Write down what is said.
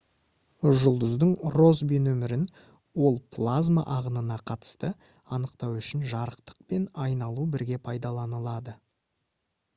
жұлдыздың россби нөмірін ол плазма ағынына қатысты анықтау үшін жарықтық пен айналу бірге пайдаланылады